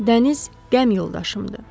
Dəniz qəm yoldaşımdır.